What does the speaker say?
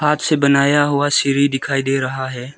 हाथ से बनाया हुआ सीढ़ी दिखाई दे रहा है।